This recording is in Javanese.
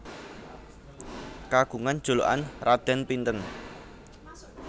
Kagungan julukan Raden Pinten